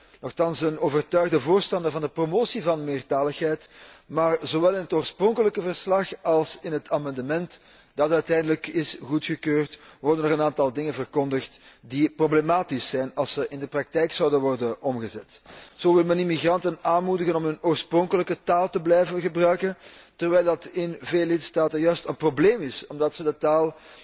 Ik ben nochtans een overtuigd voorstander van de promotie van meertaligheid, maar zowel in het oorspronkelijke verslag als in het amendement dat uiteindelijk is goedgekeurd, worden een aantal dingen verkondigd die problematisch zijn als ze in de praktijk zouden worden omgezet. Zo wil men immigranten aanmoedigen om hun oorspronkelijke taal te blijven gebruiken, terwijl dat in veel lidstaten juist een probleem is omdat ze de taal